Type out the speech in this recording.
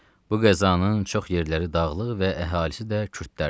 Bu qəzanın çox yerləri dağlıq və əhalisi də kürdlərdir.